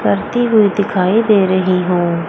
परती हुई दिखाई दे रही हूं।